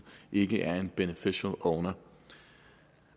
ikke er en beneficial owner